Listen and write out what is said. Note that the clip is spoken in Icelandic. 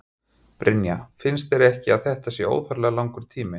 Brynja: Finnst þér ekki að þetta sé óþarflega langur tími?